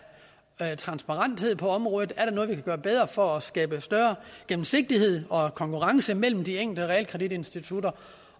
af transparens på området er der noget vi kan gøre bedre for at skabe større gennemsigtighed og konkurrence mellem de enkelte realkreditinstitutter